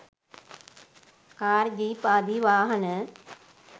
car jeep ආදී වාහන